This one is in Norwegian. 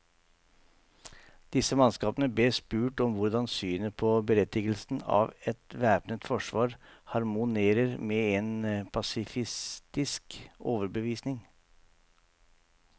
Disse mannskapene bes spurt om hvordan synet på berettigelsen av et væpnet forsvar harmonerer med en pasifistisk overbevisning.